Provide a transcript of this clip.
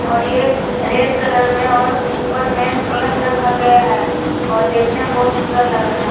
और ये red colour में और ऊपर में कलश रखा गया है और देखने में बहुत सुंदर लग रहा है।